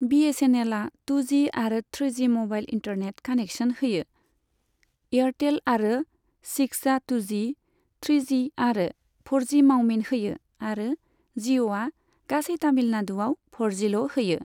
बीएसएनएलआ two G आरो three G mobile internet connection होयो, Airtel आरो सिक्सआ टुजि, थ्रिजि आरो फ'रजि मावमिन होयो आरो जिअ'आ गासै तामिलनाडुआव फ'रजिल' होयो।